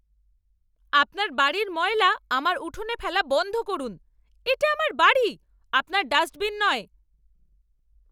আপনার বাড়ির ময়লা আমার উঠানে ফেলা বন্ধ করুন। এটা আমার বাড়ি, আপনার ডাস্টবিন নয়!